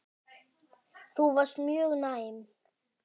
Þú varst mjög næm.